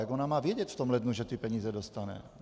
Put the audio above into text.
Jak ona má vědět v tom lednu, že ty peníze dostane?